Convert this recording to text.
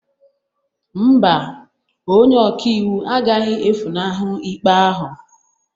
Mba, onye ọka iwu agaghị efunahụ ikpe ahụ